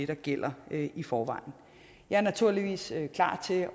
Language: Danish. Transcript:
der gælder i forvejen jeg er naturligvis klar til at